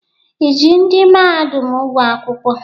I ji ndị mahadum ụgwọ akwụkwọ?